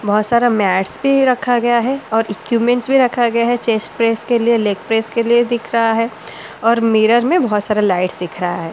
बहुत सारा मैट्स भी रखा गया है और इक्विपमेंट्स भी रखा गया है चेस्ट प्रेस के लिए लेग प्रेस के लिए दिख रहा है और मिरर में बहुत सारा लाइट सीख रहा है।